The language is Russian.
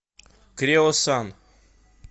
креосан